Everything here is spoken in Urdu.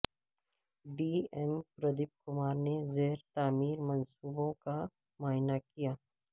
ڈی ایم پردیپ کمار نے زیر تعمیر منصوبوں کا معائنہ کیا